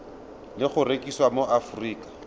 le go rekisiwa mo aforika